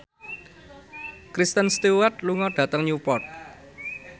Kristen Stewart lunga dhateng Newport